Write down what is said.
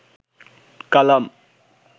কালাম